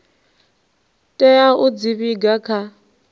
tea u dzi vhiga kha